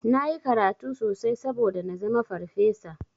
Nayi karatu sosai saboda nazama farfesa.